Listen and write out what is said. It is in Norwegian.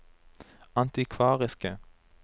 antikvariske